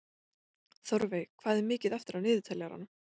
Þórveig, hvað er mikið eftir af niðurteljaranum?